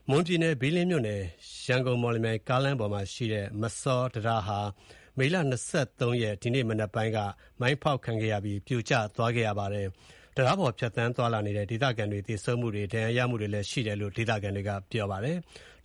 မွန်ပြည်နယ်၊ ဘီးလင်းမြို့နယ် ရန်ကုန်-မော်လမြိုင် ကားလမ်းပေါ်မှာရှိတဲ့ မစောတံတားဟာ မေလ ၂၃ရက်၊ ဒီကနေ့မနက်ပိုင်းက မိုင်းဖောက်ခံရပြီး ပြိုကျသွားခဲ့ပါတယ်။ တံတားပေါ် ဖြတ်သန်းသွားလာနေတဲ့ ဒေသခံတွေ သေဆုံးတာတွေ ဒဏ်ရာရတာတွေလည်းရှိတယ်လို့ ဒေသခံတွေက ပြောပါတယ်။